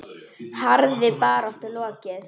Harðri baráttu lokið.